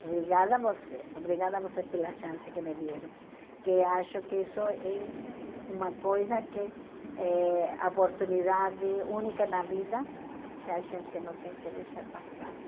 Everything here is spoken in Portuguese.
Obrigada a vocês, obrigada a vocês pela chance que me deram, que acho que isso é uma coisa que é oportunidade única na vida, que a gente não tem que deixar passar.